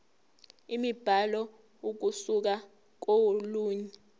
imibhalo ukusuka kolunye